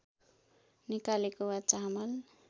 निकालेको वा चामल